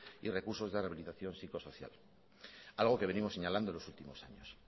y recursos de rehabilitación psicosocial algo que venimos señalando en los últimos años